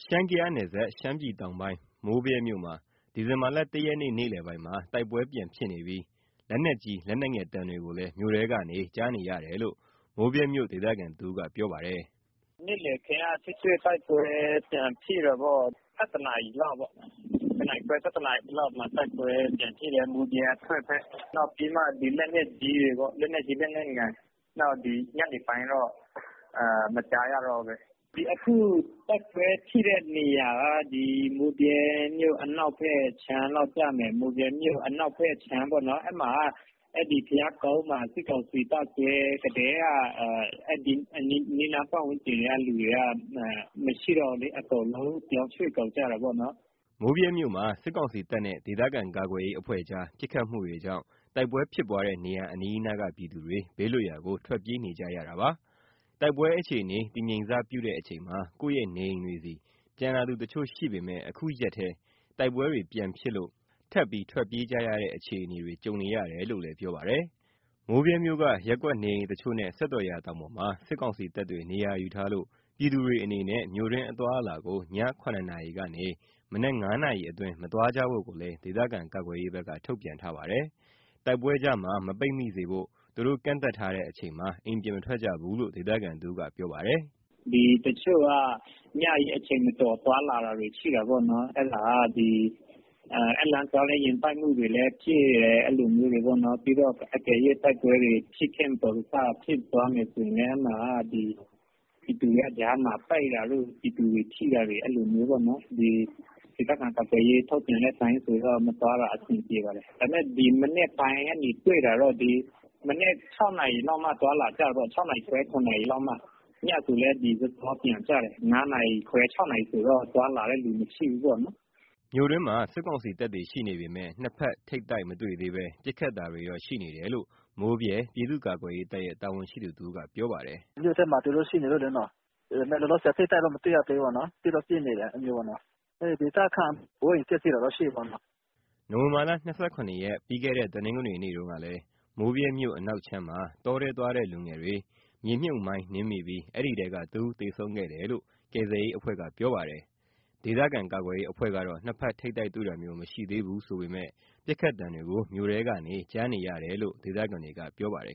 ရှမ်း - ကယားနယ်စပ်၊ ရှမ်းပြည်တောင်ပိုင်း၊ မိုးဗြဲမြို့မှာ ဒီဇင်ဘာလ ၁ ရက်နေ့ နေ့လည်ပိုင်းက တိုက်ပွဲပြန်ဖြစ်နေပြီး လက်နက်ကြီး လက်နက်ငယ်သံတွေကိုလည်း မြို့ထဲကနေ ကြားနေရတယ်လို့ မိုးဗြဲမြို့ဒေသခံတဦးကပြောပါတယ်။ " နေ့ခင်းက ထိတွေ့တိုက်ပွဲ ပြန်ဖြစ်တယ်။ ၁၁ နာရီလောက် မိုးဗြဲအထွက်ဘက်မှာ တိုက်ပွဲပြန်ဖြစ်တယ်။ လက်နက်ကြီး လက်နက်ငယ်တွေရောပေါ့။ ဒီ ညနေပိုင်းတော့ မကြားရတော့ဘူး။ အခု တိုက်ပွဲဖြစ်တဲ့နေရာက မိုးဗြဲမြို့ အနောက်ဘက်ခြမ်းလောက် ကျမယ်။ အဲဒီက ဘုရားကုန်းမှာ စစ်ကောင်စီတပ်စွဲကတည်းက အဲဒီအနီးနား ပတ်ဝန်းကျင်ကလူတွေက မရှိတော့ဘူးလေ။ အကုန်လုံး ပြောင်းရွှေ့ကုန်ကြတာပေါ့နော်။" မိုးဗြဲမြို့မှာ စစ်ကောင်စီတပ်နဲ့ ဒေသခံကာကွယ်ရေး အဖွဲ့ကြား ပစ်ခတ်မှုတွေကြောင့် တိုက်ပွဲဖြစ်ပွားတဲ့ နေရာအနီးအနားက ပြည်သူတွေ ဘေးလွတ်ရာကို ထွက်ပြေးနေကြရတာပါ။ တိုက်ပွဲအခြေအနေ တည်ငြိမ်စပြုတဲ့ အချိန်မှာ ကိုယ့်ရဲ့နေအိမ်တွေဆီ ပြန်လာသူတချို့ရှိပေမယ့် အခုရက်ထဲ တိုက်ပွဲတွေပြန်ဖြစ်လို့ ထပ်ပြီးထွက်ပြေးကြရတဲ့ အခြေအနေတွေ ကြုံနေရတယ်လို့လည်း ပြောပါတယ်။ မိုးဗြဲမြို့က ရပ်ကွက်နေအိမ်တချို့နဲ့ စက်တော်ရာတောင်ပေါ်မှာ စစ်ကောင်စီတပ်တွေ နေရာယူထားလို့ ပြည်သူတွေအနေနဲ့ မြို့တွင်းအသွားအလာကို ည ၇ နာရီကနေ မနက် ၅ နာရီအတွင်း မသွားကြဖို့ကိုလည်း ဒေသခံကာကွယ်ရေးဘက်က ထုတ်ပြန်ထားပါတယ်။ တိုက်ပွဲကြားမှာ ပိတ်မိမနေဖို့ သူတို့ကန့်သတ်ထားတဲ့ အချိန်မှာ အိမ်ပြင်မထွက်ကြဘူးလို့ ဒေသခံတဦးက ပြောပါတယ်။ "တချို့က ညကြီးအချိန်မတော် သွားလာတာတွေ ရှိတာပေါ့။ အဲဒီလမ်းသွားရင် ယာဉ်တိုက်မှုတွေလည်း ရှိတယ်။ အကယ်၍ တိုက်ပွဲတွေ မတော်တဆဖြစ်သွားမယ် ဆိုရင်လည်း ပြည်သူတွေက ကြားမှာပိတ်တာတို့၊ ပြည်သူတွေ ထိတာမျိုးပေါ့နော်။ ဒေသခံကာကွယ်ရေးဘက်က ထုတ်ပြန်တဲ့အတိုင်း မသွားတာမျိုးတော့ အဆင်ပြေပါတယ်။ ဒါပေမဲ့ အခု မနက် ၆ နာရီခွဲ ၇ နာရီလောက်မှ သွားလာကြတာပေါ့နော်။ ညဆိုလည်း စောစောပြန်ကြတယ်။ ၅ နာရီခွဲ ၆ နာရီလောက်ဆို သွားလာတဲ့သူ မရှိဘူးပေါ့နော်။" မြို့တွင်းမှာ စစ်ကောင်စီတပ်ရှိနေပေမယ့် နှစ်ဖက်ထိပ်တိုက် မတွေ့သေးဘဲ ပစ်ခတ်တာတွေတော့ ရှိနေတယ်လို့ မိုးဗြဲပြည်သူ့ကာကွယ်ရေးတပ်ရဲ့ တာဝန်ရှိသူတဦးက ပြောပါတယ်။ "မြို့ထဲမှာ သူတို့ရှိနေလို့လေ။ လောလောဆယ် ထိပ်တိုက်တော့ မတွေ့ရသေးဘူး၊ ပစ်တော့ပစ်နေတယ်။ ဒေသခံ အိုးအိမ်ပျက်စီးတာတော့ ရှိတာပေါ့နော်။" နိုဝင်ဘာလ ၂၇ ရက်၊ ပြီးခဲ့တဲ့ တနင်္ဂနွေနေ့တုန်းကလည်း မိုးဗြဲမြို့အနောက်ခြမ်းမှာ တောထဲသွားတဲ့ လူငယ်တွေ မြေမြှုပ်မိုင်းနင်းမိပြီး အဲဒီထဲက တဦးသေဆုံးခဲ့တယ်လို့ ကယ်ဆယ်ရေးအဖွဲ့က ပြောပါတယ်။ ဒေသကာကွယ်ရေး အဖွဲ့ကတော့ နှစ်ဖက်ထိပ်တိုက် တွေ့တာမျိုး မရှိသေးဘူးဆိုပေမယ့် ပစ်ခတ်သံတွေကို မြို့ထဲကနေ ကြားနေရတယ်လို့ ဒေသခံတွေက ပြောပါတယ်